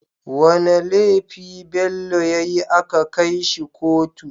Wane lefi Bello yayi aka kai shi kotu?